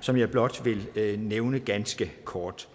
som jeg blot vil nævne ganske kort